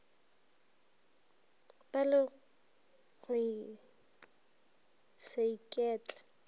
ba le go se iketle